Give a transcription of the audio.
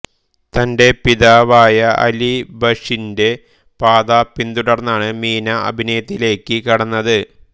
തന്റെ പിതാവായ അലി ബക്ഷിന്റെ പാത പിന്തുടർന്നാണ് മീന അഭിനയത്തിലേക്ക് കടന്നത്